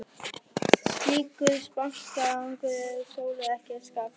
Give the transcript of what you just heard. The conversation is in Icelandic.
Slíkur þankagangur var Sólu ekki að skapi.